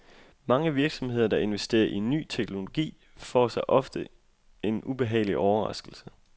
Mange virksomheder, der investerer i ny teknologi, får sig ofte en ubehagelig overraskelse.